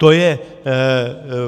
To je